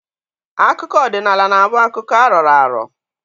Akụkọ ọdịnala na-abụ akụkọ a rọrọ arọ